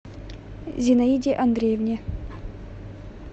зинаиде андреевне